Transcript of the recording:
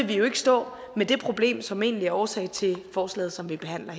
vi jo ikke stå med det problem som egentlig er årsag til forslaget som vi behandler